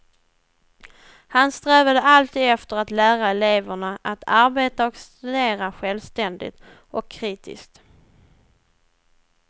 Han strävade alltid efter att lära eleverna att arbeta och studera självständigt och kritiskt.